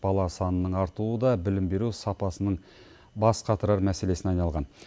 бала санының артуы да білім беру сапасының бас қатырар мәселесіне айналған